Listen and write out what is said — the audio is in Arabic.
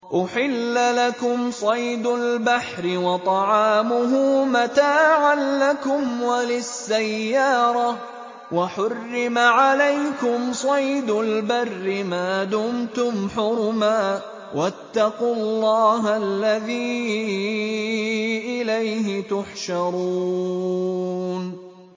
أُحِلَّ لَكُمْ صَيْدُ الْبَحْرِ وَطَعَامُهُ مَتَاعًا لَّكُمْ وَلِلسَّيَّارَةِ ۖ وَحُرِّمَ عَلَيْكُمْ صَيْدُ الْبَرِّ مَا دُمْتُمْ حُرُمًا ۗ وَاتَّقُوا اللَّهَ الَّذِي إِلَيْهِ تُحْشَرُونَ